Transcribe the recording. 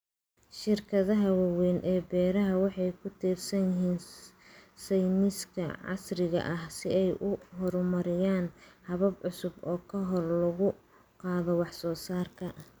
Shirkadaha waaweyn ee beeraha waxay ku tiirsan yihiin sayniska casriga ah si ay u horumariyaan habab cusub oo kor loogu qaado wax soo saarka.